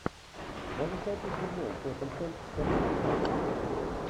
можешь найти футбол тоттенхэм с аристократами